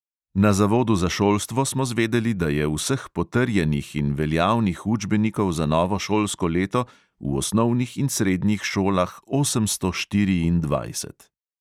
Na zavodu za šolstvo smo zvedeli, da je vseh potrjenih in veljavnih učbenikov za novo šolsko leto v osnovnih in srednjih šolah osemsto štiriindvajset.